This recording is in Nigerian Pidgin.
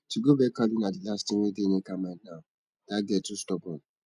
to go beg kalu na the last thing wey dey nneka mind now that girl too stubborn